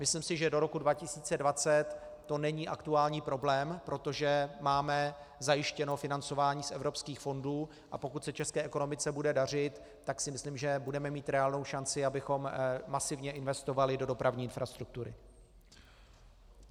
Myslím si, že do roku 2020 to není aktuální problém, protože máme zajištěné financování z evropských fondů, a pokud se české ekonomice bude dařit, tak si myslím, že budeme mít reálnou šanci, abychom masivně investovali do dopravní infrastruktury.